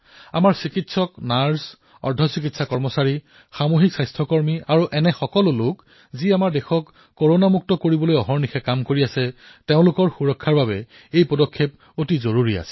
আমাৰ চিকিৎসক নাৰ্চ পেৰা মেডিকেল কৰ্মী সামাজিক স্বাস্থ্য কৰ্মী আৰু এনে বহু লোক যিয়ে দেশক কৰোনা মুক্ত কৰি তোলাৰ বাবে দিনেৰাতিয়ে নামি পৰিছে তেওঁলোকৰ সুৰক্ষাৰ বাবে এয়া প্ৰয়োজনীয় আছিল